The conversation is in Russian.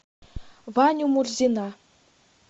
ваню мурзина